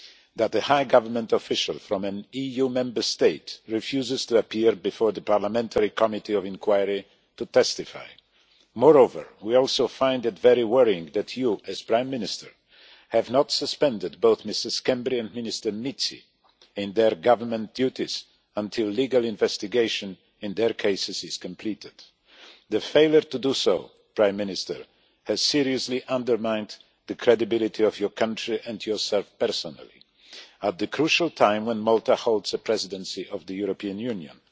that a high government official from an EU Member State refuses to appear before the parliamentary committee of inquiry to testify. Moreover, we also find it very worrying that you, as Prime Minister, have not suspended both Mr Schembri and Minister Mizzi from their government duties until the legal investigation in their cases is completed. The failure to do so, Prime Minister, has seriously undermined the credibility of your country and yourself personally at the crucial time when Malta holds the Presidency of the European Union.